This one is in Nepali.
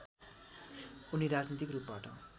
उनी राजनैतिक रूपबाट